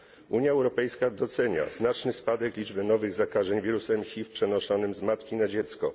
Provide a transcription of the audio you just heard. Unia Europejska docenia znaczny spadek liczby nowych zakażeń wirusem HIV przenoszonym z matki na dziecko.